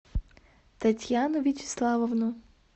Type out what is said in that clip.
татьяну вячеславовну